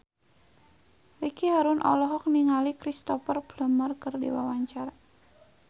Ricky Harun olohok ningali Cristhoper Plumer keur diwawancara